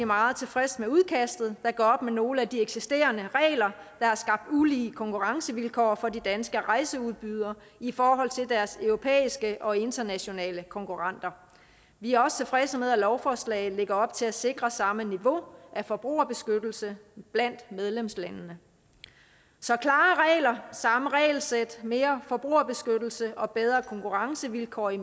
meget tilfredse med udkastet der gør op med nogle af de eksisterende regler der har skabt ulige konkurrencevilkår for de danske rejseudbydere i forhold til deres europæiske og internationale konkurrenter vi er også tilfredse med at lovforslaget lægger op til at sikre samme niveau af forbrugerbeskyttelse blandt medlemslandene så klare regler samme regelsæt mere forbrugerbeskyttelse og bedre konkurrencevilkår i